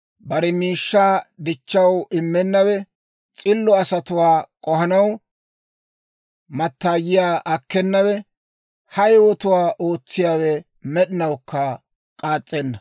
bare miishshaa dichchaw immennawe, S'illo asatuwaa k'ohanaw mattaayiyaa akkenawe. Ha yewotuwaa ootsiyaawe, med'inawukka k'aas's'enna.